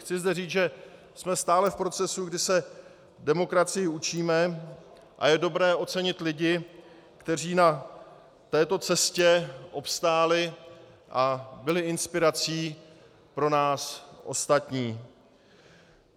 Chci zde říct, že jsme stále v procesu, kdy se demokracii učíme, a je dobré ocenit lidi, kteří na této cestě obstáli a byli inspirací pro nás ostatní.